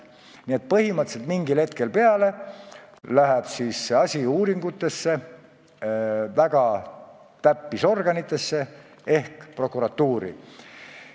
Nii et mingist hetkest alates läheb selle asja uurimine väga täpseks ehk prokuratuuri kätte.